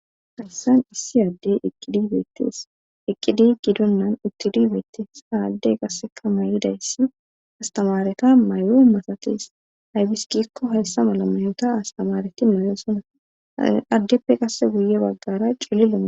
hayssan issi addey eqqidibeettis eqqidi gidonnan uttidi beettis aadde qasseka may7idayssi astamareta may7o masates haybiskikko hessa mala mayota astamareti mayosona addeppe qasse guye baggara cillilo